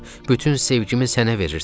Bütün sevgimi sənə verirdim.